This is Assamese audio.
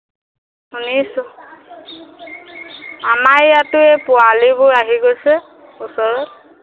শুনিছো আমাৰ ইয়াতে পোৱালীবোৰ আহি গৈছে ওচৰৰ